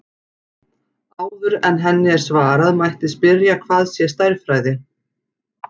Áður en henni er svarað mætti spyrja hvað sé stærðfræði.